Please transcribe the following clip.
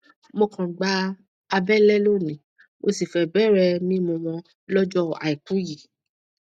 mo kan gba àbẹlẹ lóní mo sì fẹẹ bẹrẹ mímú wọn lọjọ àìkú yìí